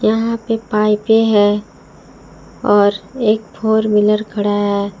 यहां पे पाइपें है और एक फोर व्हीलर खड़ा है।